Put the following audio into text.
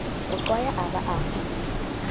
mo qwaya a ba a